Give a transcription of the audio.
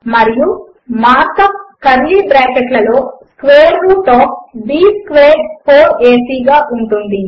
మరియు mark up curly bracket లలో square root of b squared 4ఏసీ గా ఉంటుంది